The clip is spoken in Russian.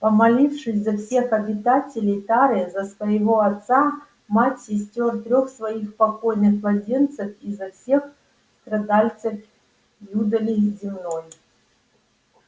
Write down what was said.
помолившись за всех обитателей тары за своего отца мать сестёр трёх своих покойных младенцев и за всех страдальцев юдоли земной